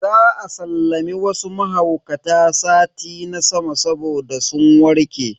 Za a sallami wasu mahaukata sati na sama saboda sun warke.